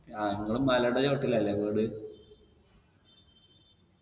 ആ ഇങ്ങള് മലേടെ ചോട്ടിലല്ലേ വീട്